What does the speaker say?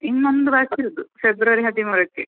ಇನ್ನೊಂದು ಬಾಕಿ ಇರುದು February ಹದಿಮೂರಕ್ಕೆ.